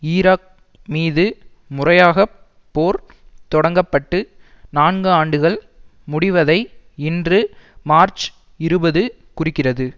Iraq மீது முறையாக போர் தொடங்கப்பட்டு நான்கு ஆண்டுகள் முடிவதை இன்று மார்ச் இருபது குறிக்கிறது